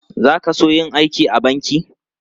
Za ka so yin aiki a banki?